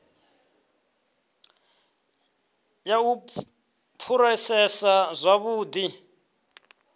ya u phurosesa zwa vhulimi